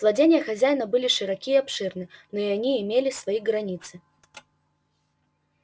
владения хозяина были широки и обширны но и они имели свои границы